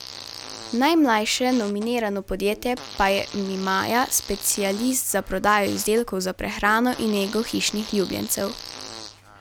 Najmlajše nominirano podjetje pa je Mimaja, specialist za prodajo izdelkov za prehrano in nego hišnih ljubljencev.